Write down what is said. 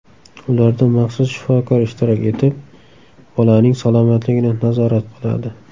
Ularda maxsus shifokor ishtirok etib, bolaning salomatligini nazorat qiladi.